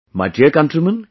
My dear countrymen,